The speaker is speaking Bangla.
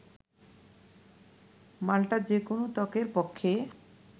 মাল্টা যে কোনো ত্বকের পক্ষে